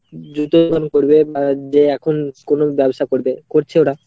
জুতোর দোকান করবে যে এখন কোনো ব্যবসা করবে, করছে ওরা।